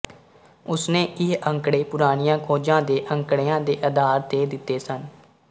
ਉਸਨੇ ਇਹ ਅੰਕੜੇ ਪੁਰਾਣੀਆਂ ਖੋਜਾਂ ਦੇ ਅੰਕੜਿਆਂ ਦੇ ਅਧਾਰ ਤੇ ਦਿੱਤੇ ਸਨ